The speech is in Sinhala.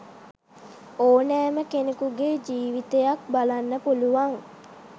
ඕනෑම කෙනෙකුගේ ජීවිතයක් බලන්න පුළුවන්.